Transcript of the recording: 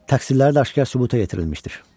Təqsirləri də aşkar sübuta yetirilmişdir.